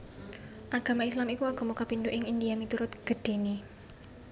Agama Islam iku agama kapindho ing India miturut gedhéné